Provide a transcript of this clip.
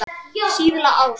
Síðla árs.